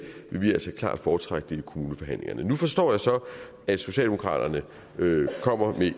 vil vi altså klart foretrække det i kommuneforhandlingerne nu forstår jeg så at socialdemokraterne kommer med